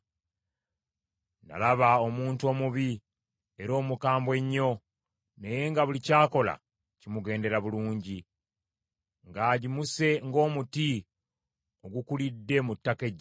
Nalaba omuntu omubi era omukambwe ennyo, naye nga buli ky’akola kimugendera bulungi, ng’agimuse ng’omuti ogukulidde mu ttaka eggimu,